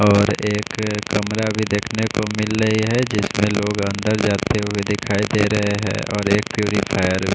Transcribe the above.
और एक कमरा भी देखने को मिल रही है जिसमे लोग अंदर जाते हुए दिखाई दे रहे है और एक पुरफ़िरे --